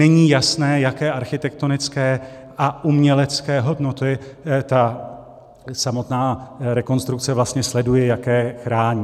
Není jasné, jaké architektonické a umělecké hodnoty ta samotná rekonstrukce vlastně sleduje, jaké chrání.